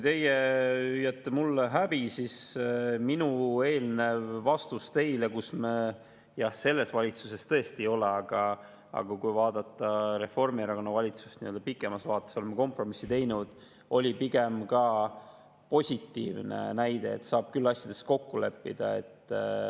Teie hüüate mulle: "Häbi!", aga minu eelnev vastus teile – jah, selles valitsuses tõesti ei ole, aga kui vaadata Reformierakonna valitsust pikemas vaates, oleme kompromisse teinud – oli pigem positiivne näide, et saab küll asjades kokku leppida.